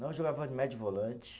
Não, eu jogava de médio volante.